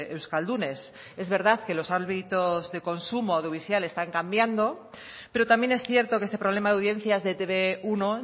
euskaldunes es verdad que los hábitos de consumo audiovisual están cambiando pero también es cierto que este problema de audiencias de etb uno